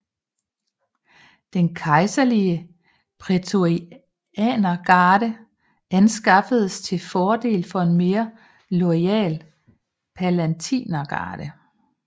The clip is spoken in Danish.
Den kejserlige prætorianergarde afskaffedes til fordel for en mere loyal palatinergarde